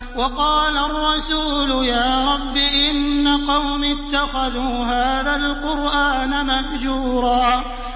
وَقَالَ الرَّسُولُ يَا رَبِّ إِنَّ قَوْمِي اتَّخَذُوا هَٰذَا الْقُرْآنَ مَهْجُورًا